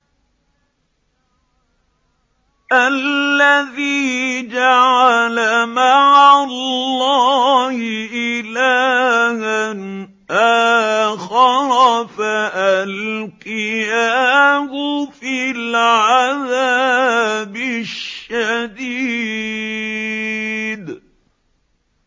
الَّذِي جَعَلَ مَعَ اللَّهِ إِلَٰهًا آخَرَ فَأَلْقِيَاهُ فِي الْعَذَابِ الشَّدِيدِ